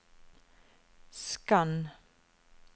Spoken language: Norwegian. skann